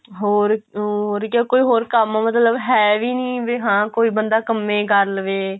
ਹੋਰ ਹੋਰ ਕੋਈ ਹੋਰ ਕੰਮ ਮਤਲਬ ਹੈ ਵੀ ਨਹੀਂ ਵੀ ਹਾਂ ਕੋਈ ਬੰਦਾ ਕੰਮੇ ਕਰ ਲਵੇ